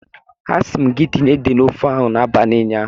A si m gi tinye ede na ofe ahu n'abali unyaahu.